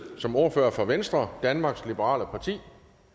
som ordfører for venstre danmarks liberale parti